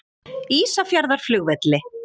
Ísafjarðarflugvelli